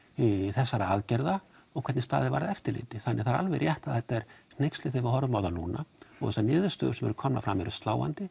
þessara aðgerða og hvernig staðið var að eftirliti þannig það er alveg rétt að þetta er hneyksli þegar við horfum á þetta núna og þessar niðurstöður sem eru komnar eru sláandi